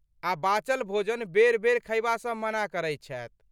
आ बचल भोजन बेर बेर खयबासँ मना करैत छथि।